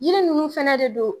Yiri ninnu fɛnɛ de don